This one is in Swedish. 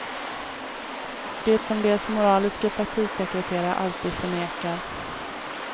Det som deras moraliske partisekreterare alltid förnekar.